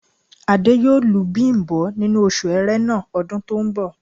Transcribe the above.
Adé yóò lu Bím̀bọ́ nínú oṣù Ẹrẹ́nà ọdún tó ń bọ̀